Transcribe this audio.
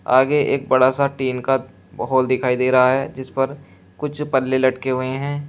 आगे एक बड़ा सा टीन का हाल दिखाई दे रहा है जिस पर कुछ पल्ले लटके हुए हैं।